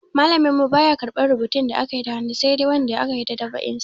Malamin mu baya karɓar rubutu da akayi da hannu sai dai wanda aka yi dab'in sa.